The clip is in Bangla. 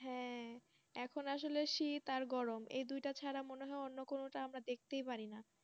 হ্যাঁ এখন আসলে শীত আর গরম এই দুটা ছাড়া মনে হয় অন্য কোনটা কিছু দেখতে পাই না